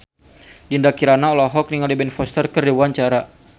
Dinda Kirana olohok ningali Ben Foster keur diwawancara